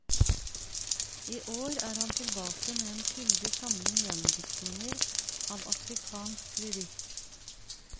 I år er han tilbake med en fyldig samling gjendiktninger av afrikansk lyrikk.